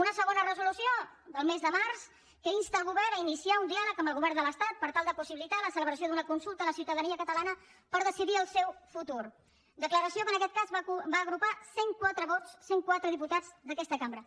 una segona resolució del mes de març que insta el govern a iniciar un diàleg amb el govern de l’estat per tal de possibilitar la celebració d’una consulta a la ciutadania catalana per decidir el seu futur declaració que en aquest cas va agrupar cent quatre vots cent quatre diputats d’aquesta cambra